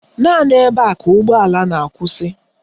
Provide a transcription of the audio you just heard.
Naanị ebe a ka ụgbọala na-akwụsị